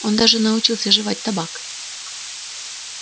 он даже научился жевать табак